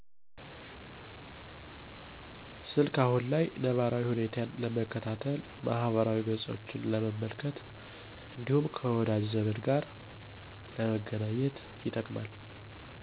ስልክ አሁን ላይ ነባራዊ ሁኔታን ለመከታተል ማህበራዊ ገፆችን ለመመልከት እንዲሁም ከወዳጅ ዘመድ ጋር ለመገናኘት